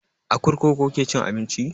A kurkuku kuke cin abinci?